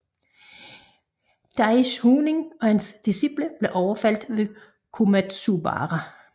Daishonin og hans disciple blev overfaldet ved Komatsubara